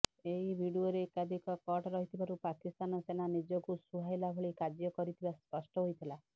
ଏହି ଭିଡିଓରେ ଏକାଧିକ କଟ୍ ରହିଥିବାରୁ ପାକିସ୍ତାନ ସେନା ନିଜକୁ ସୁହାଇଲା ଭଳି କାର୍ଯ୍ୟ କରିଥିବା ସ୍ପଷ୍ଟ ହୋଇଥିଲା